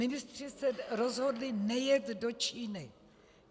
Ministři se rozhodli nejet do Číny.